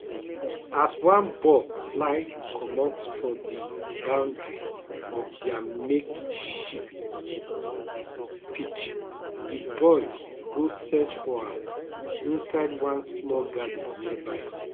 as one ball fly commot for di boundary of dia makeshift pitch di boys go search for am inside one small garden nearby